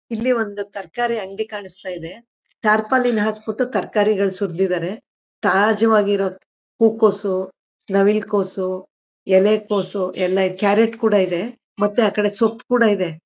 ಇಲ್ಲಿ ಒಂದು ತರಕಾರಿ ಅಂಗಡಿ ಕಾಣಿಸ್ತಾ ಇದೆ ಟಾರ್ಪಲಿನ್ ಹಾಸ್ ಬಿಟ್ಟು ತರಕಾರಿಗಳು ಸುರಿದಿದ್ದಾರೆ ತಾಜಾವಾಗಿರೋ ಹೂ ಕೋಸು ನವಿಲು ಕೋಸು ಎಲೆ ಕೋಸು ಎಲ್ಲ ಕ್ಯಾರೆಟ್ ಕೂಡ ಇದೆ ಮತ್ತೆ ಆ ಕಡೆ ಸೊಪ್ಪು ಕೂಡ ಇದೆ.